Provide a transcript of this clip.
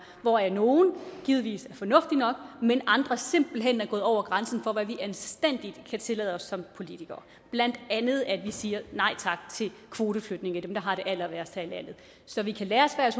hvoraf nogle givetvis er fornuftige nok mens andre simpelt hen er gået over grænsen for hvad vi anstændigvis kan tillade os som politikere blandt andet at vi siger nej tak til kvoteflygtninge altså dem der har det allerværst så vi kan lære af